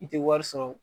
I tɛ wari sɔrɔ